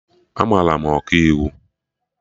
Amara m Ọkaiwu